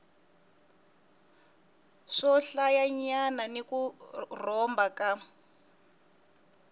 swohlayanyana ni ku rhomba ka